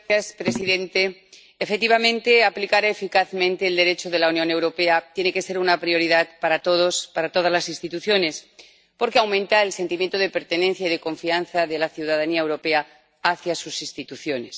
Señor presidente, efectivamente, aplicar eficazmente el Derecho de la Unión Europea tiene que ser una prioridad para todas las instituciones, porque aumenta el sentimiento de pertenencia y de confianza de la ciudadanía europea hacia sus instituciones.